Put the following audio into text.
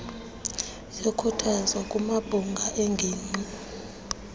yokhuthazo kumabhunga eengingqi